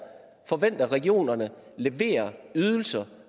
forventer at regionerne leverer ydelser